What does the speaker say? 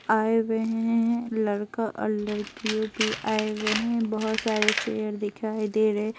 आए हुए हैं लड़का और लड़कियों पे आए हुए हैं बहुत सारे चेयर दिखाई दे रहे ।